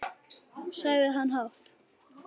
sagði hann hátt.